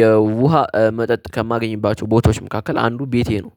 የውሃ መጠጥ ከማገኝባቸው ቦታዎች መካከል አንዱ ቤቴ ነው።